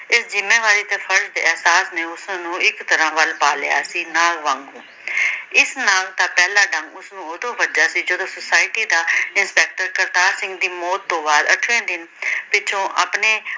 ਇਸ ਜਿੰਮੇਵਾਰੀ ਦੇ ਫਰਜ਼ ਅਹਿਸਾਸ ਨੇ ਉਸ ਨੂੰ ਇਕ ਤਰਾਂ ਵੱਲ਼ ਪਾ ਲਿਆ ਸੀ ਨਾਗ ਵਾਂਗੂ । ਇਸ ਨਾਗ ਦਾ ਪਹਿਲਾਂ ਡੰਗ ਉਸ ਨੂੰ ਉਦੋਂ ਵੱਜਿਆ ਜਦੋਂ ਸੁਸਾਇਟੀ ਦਾ ਇੰਸਪੈਕਟਰ ਕਰਤਾਰ ਸਿੰਘ ਦੀ ਮੌਤ ਤੋਂ ਬਾਅਦ ਅੱਠਵੇ ਦਿਨ ਪਿੱਛੋਂ ਆਪਣੇ